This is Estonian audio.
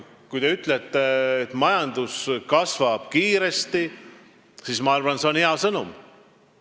Kui te ütlete, et majandus kasvab kiiresti, siis on see minu arvates hea sõnum.